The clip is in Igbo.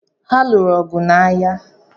Ha lụụrụ ọgụ n'ahia?